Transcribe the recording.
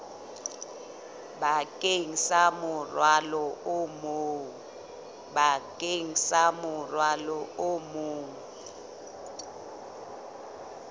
bakeng sa morwalo o mong